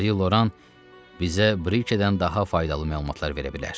Mari Loran bizə brikdən daha faydalı məlumatlar verə bilər.